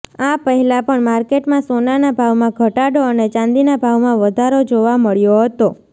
આ પહેલા પણ માર્કેટમાં સોનાના ભાવમાં ઘટાડો અને ચાંદીના ભાવમાં વધારો જોવા મળ્યો હતો